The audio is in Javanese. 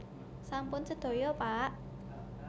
Sampun sedaya pak